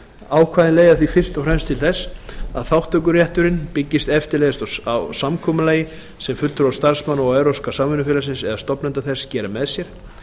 ákvæðin leiða því fyrst og fremst til þess að þátttökurétturinn byggist eftirleiðis á samkomulagi sem fulltrúar starfsmanna og evrópska samvinnufélagsins eða stofnenda þess gera með sér